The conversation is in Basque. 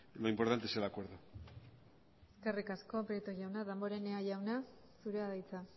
lo importante es el acuerdo eskerrik asko prieto jauna damborenea jauna zurea da hitza